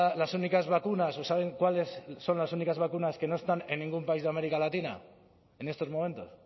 las únicas vacunas o saben cuáles son las únicas vacunas que no están en ningún país de américa latina en estos momentos